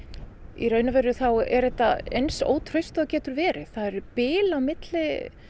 í raun er þetta eins ótraust og það getur verið það eru bil á milli